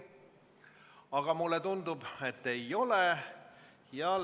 Aga mulle tundub, et ei ole.